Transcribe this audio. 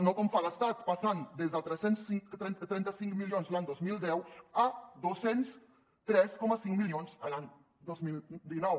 no com fa l’estat passant de tres cents i trenta cinc milions l’any dos mil deu a dos cents i tres coma cinc milions l’any dos mil dinou